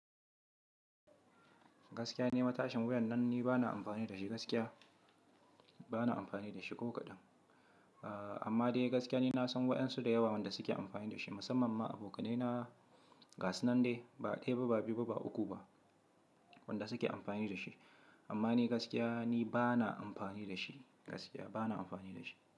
Gaskiya ni, matashin wiyan nan ni bana amfani da shi gaskiya, bana amfani da shi ko kaɗan. Amma dai gaskiya ni na san wa'yansu da yawa wanda suke amfani da shi, musamman ma abokanai na gasu nan dai, ba ɗaya ba, ba biyu ba, ba uku ba wanda suke amfani da shi. Amma ni gaskiya ni bana amfani da shi gaskiya, bana amfani da shi.